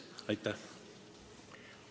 Aitäh!